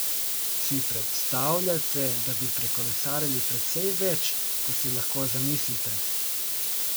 Si predstavljate, da bi prekolesarili precej več, kot si lahko zamislite?